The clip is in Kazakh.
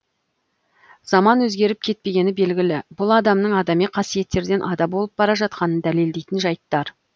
заман өзгеріп кетпегені белгілі бұл адамның адами қасиеттерден ада болып бара жатқанын дәлелдейтін жайттар